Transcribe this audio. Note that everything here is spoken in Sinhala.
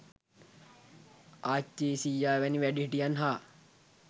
ආච්චී සීයා වැනි වැඩිහිටියන් හා